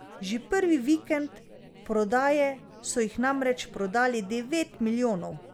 Že prvi vikend prodaje so jih namreč prodali devet milijonov.